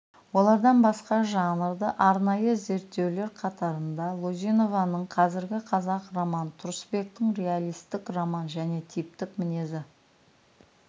олардан басқа жанрды арнайы зерттеулер қатарында лизунованың қазіргі қазақ роман тұрысбектің реалисттік роман және типтік мінезі